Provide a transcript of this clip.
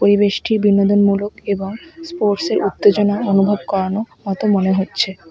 পরিবেশটি বিনোদনমূলক এবং স্পোর্টসের উত্তেজনা অনুভব করানো মতো মনে হচ্ছে।